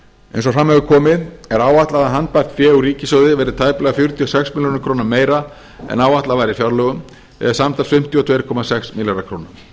eins og fram hefur komið er áætlað að handbært fé úr ríkissjóði verði tæplega fjörutíu og sex milljörðum króna meira en áætlað var í fjárlögum eða samtals fimmtíu og tvö komma sex milljarðar króna